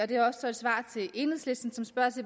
det er også et svar til enhedslisten som spørger